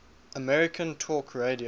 american talk radio